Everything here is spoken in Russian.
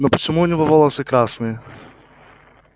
но почему у него волосы красные